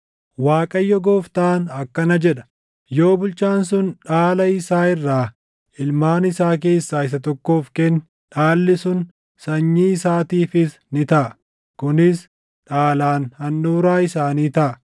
“‘ Waaqayyo Gooftaan akkana jedha: Yoo bulchaan sun dhaala isaa irraa ilmaan isaa keessaa isa tokkoof kenne dhaalli sun sanyii isaatiifis ni taʼa; kunis dhaalaan handhuuraa isaanii taʼa.